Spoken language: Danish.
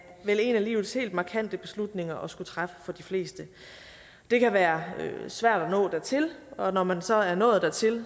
vel en af livets helt markante beslutninger at skulle træffe for de fleste det kan være svært at nå dertil og når man så er nået dertil